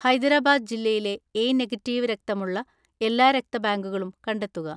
ഹൈദരാബാദ് ജില്ലയിലെ A negative രക്തമുള്ള എല്ലാ രക്തബാങ്കുകളും കണ്ടെത്തുക.